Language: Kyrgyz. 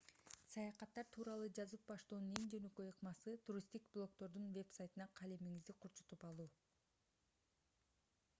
саякаттар тууралуу жазып баштоонун эң жөнөкөй ыкмасы туристтик блогдордун вебсайтынан калемиңизди курчутуп алуу